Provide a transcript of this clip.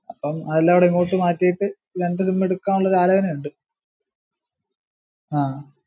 അപ്പം അയെല്ലാം കൂടെ ഇങ്ങോട്ട് മാറ്റിയിട്ട് രണ്ട് sim അലോയന ഇണ്ട്